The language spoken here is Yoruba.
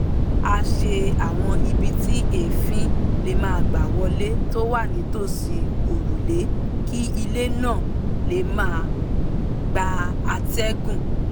a ṣe àwọn ibi tí èéfín lè gbà wọlé tó wà nítòsí òrùlé kí ilé náà lè máa gba atẹ́gùn